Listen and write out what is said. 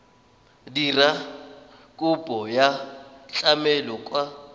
dira kopo ya tlamelo kwa